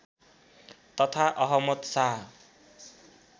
तथा अहमद शाह